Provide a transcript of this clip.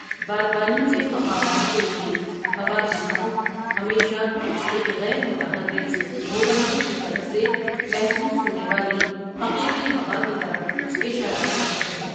بادبانی کے مقامات کے لیے ہوا کی سمت ہمیشہ ایک غیر متحّرک مبصر کی طرف سے محسوس ہونے والی حقیقی ہوا کی طرف اشارہ کرتی ہے۔